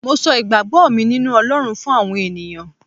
mo so igbagbo mi ninu olorun fún àwọn ènìyàn